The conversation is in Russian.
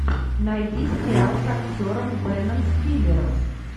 найди сериал с актером беном стиллером